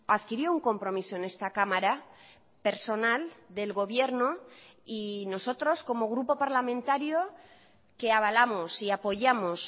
adquirió un compromiso en esta cámara personal del gobierno y nosotros como grupo parlamentario que avalamos y apoyamos